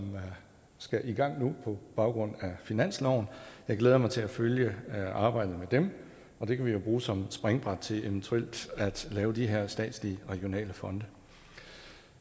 skal i gang nu på baggrund af finansloven jeg glæder mig til at følge arbejdet med dem og det kan vi jo bruge som springbræt til eventuelt at lave de her statslige regionale fonde